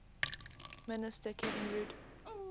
minister kevin rudd